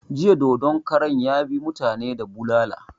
Jiya dodon karan ya bi mutani da bulala